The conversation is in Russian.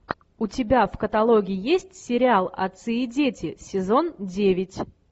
у тебя в каталоге есть сериал отцы и дети сезон девять